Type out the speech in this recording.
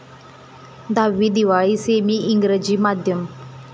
दहावी दिवाळी सेमी इंग्रजी माध्यम